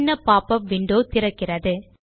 சின்ன popup window திறக்கிறது